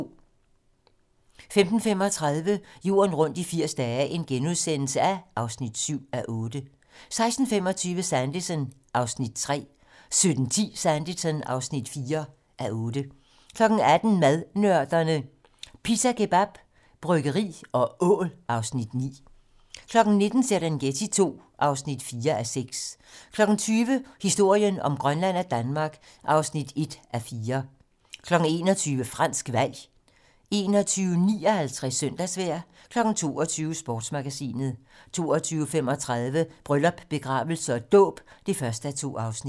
15:35: Jorden rundt i 80 dage (7:8)* 16:25: Sanditon (3:8) 17:10: Sanditon (4:8) 18:00: Madnørderne - Pita kebab, bryggeri og ål (Afs. 9) 19:00: Serengeti II (4:6) 20:00: Historien om Grønland og Danmark (1:4) 21:00: Fransk valg 21:59: Søndagsvejr 22:00: Sportsmagasinet 22:35: Bryllup, begravelse og dåb (1:2)